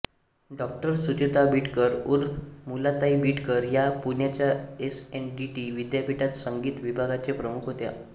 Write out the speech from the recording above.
डाॅ सुचेता बिडकर ऊर्फ मालुताई बिडकर या पुण्याच्या एसएनडीटी विद्यापीठात संगीत विभागाच्या प्रमुख होत्या